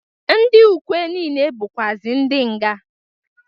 Ndị ukwe niile bụkwazị ndị nga.